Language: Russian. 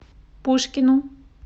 пушкину